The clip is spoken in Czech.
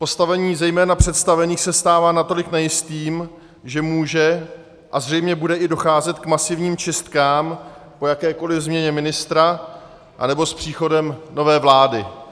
Postavení zejména představených se stává natolik nejistým, že může a zřejmě bude i docházet k masivním čistkám po jakékoli změně ministra anebo s příchodem nové vlády.